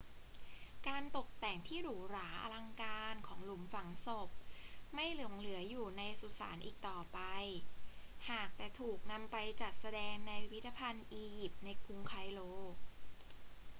การตกแต่งที่หรูหราอลังการของหลุมฝังศพไม่หลงเหลืออยู่ในสุสานอีกต่อไป หากแต่ถูกนำไปจัดแสดงในพิพิธภัณฑ์อียิปต์ในกรุงไคโร